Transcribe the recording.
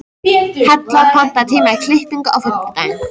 Hella, pantaðu tíma í klippingu á fimmtudaginn.